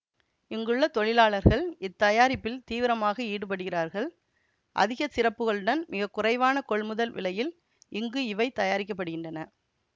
இங்குள்ள தொழிலாளர்கள் இத்தயாரிப்பில் தீவிரமாக ஈடுபடுகிறார்கள் அதிகச் சிறப்புகளுடன் மிக குறைவான கொள்முதல் விலையில் இங்கு இவை தயாரிக்க படுகின்றன